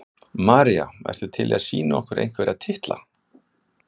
María: Ertu til í að sýna okkur einhverja titla?